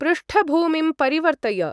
पृष्ठभूमिं परिवर्तय।